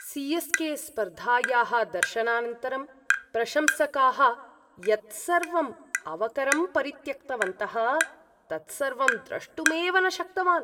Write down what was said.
CSK. स्पर्धायाः दर्शनानन्तरं प्रशंसकाः यत् सर्वम् अवकरं परित्यक्तवन्तः, तत् सर्वं द्रष्टुमेव न शक्तवान्।